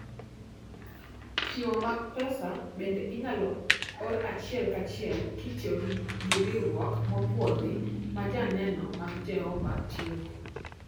Chiwo mag pesa bende inyalo or achiel kachiel kitiyo gi nying riwruok mopwodhi ma Joneno mag Jehova tiyogo.